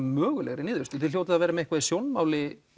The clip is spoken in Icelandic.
mögulegar niðurstöður þið hljótið að vera með eitthvað í sjónmáli